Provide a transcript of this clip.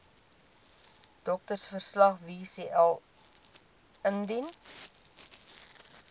doktersverslag wcl indien